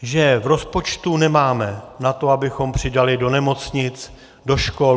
Že v rozpočtu nemáme na to, abychom přidali do nemocnic, do škol.